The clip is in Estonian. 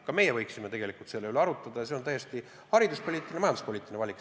Ka meie võiksime tegelikult selle üle arutada, see on nii hariduspoliitiline kui ka majanduspoliitiline valik.